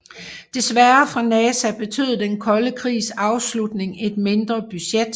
Desværre for NASA betød den kolde krigs afslutning et mindre budget